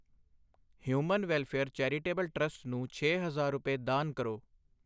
Human welfare charitable trust ਨੂੰ ਛੇ ਹਜ਼ਾਰ ਰੁਪਏ ਦਾਨ ਕਰੋ।